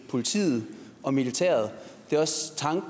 politiet og militæret